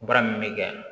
Baara min bɛ kɛ yan